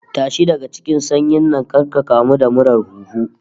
Tashi daga cikin sanyin nan kar ka kamu da murar huhu